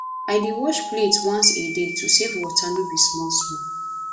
i dey wash plate once a day to save water no be small small